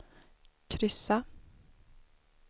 kryssa